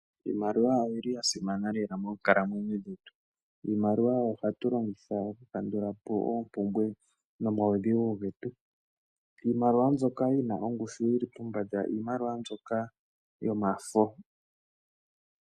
Iimaliwa oyili ya simana lela moonkalamwenyo dhetu ,iimaliwa oyo hatu longitha oku kandula po oompumbwe nomawudhigu getu, iimaliwa mbyoka yina ongushu yili pombanda iimaliwa mbyoka yomafo.